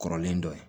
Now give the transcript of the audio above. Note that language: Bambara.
Kɔrɔlen dɔ ye